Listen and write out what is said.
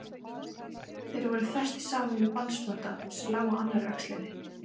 Voru þeir festir saman með bandspotta, sem lá á annarri öxlinni.